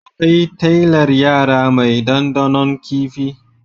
Akwai talyar yara mai dandanon kifi.